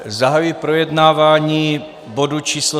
Zahajuji projednávání bodu číslo